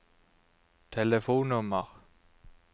telefonnummer